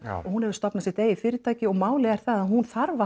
hún hefur stofnað sitt eigið fyrirtæki og málið er það að hún þarf